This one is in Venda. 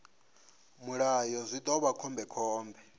mulayo zwi ḓo vha khombekhombe